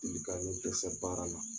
I bɛ ka ne dɛsɛ baara la